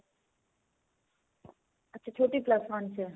ਅੱਛਾ ਛੋਟੀ plus one ਚ ਏ